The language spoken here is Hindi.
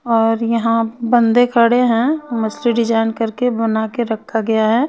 और यहाँ बंदे खड़े है मस्त डिज़ाइन बना करके रखा गया है.